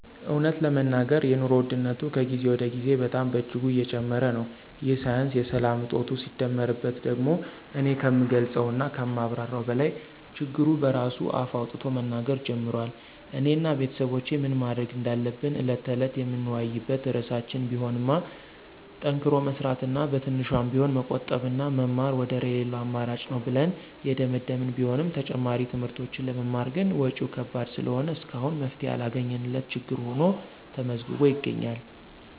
እውነት ለመናገር የኑሮ ውድነቱ ከጊዜ ወደ ጊዜ በጣም በእጅጉ እየጨመረ ነው፤ ይህ ሳያንስ የሰላም እጦቱ ሲደመርበት ደግሞ እኔ ከምገልፀው እና ከማብራራው በላይ ችግሩ በራሱ አፍ አውጥቶ መናገር ጀምሯል። እኔ እና ቤተሰቦቼ ምን ማድረግ እንዳለብን ዕለት ተዕለት የምንወያይበት ርዕሳችን ቢሆንማ ጠንክሮ መስራት እና በትንሿም ቢሆን መቆጠብና መማር ወደር የለለው አማራጭ ነው ብለን የደመደመን ቢሆንም ተጨማሪ ትምህርቶችን ለመማር ግን ወጭው ከባድ ስለሆነ እስካሁን መፍትሔ ያላገኘንለት ችግር ሁኖ ተመዝግቦ ይገኛል።